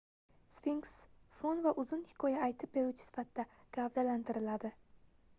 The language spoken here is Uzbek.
sfinks fon va uzun hikoya aytib beruvchi sifatida gavdalantiriladi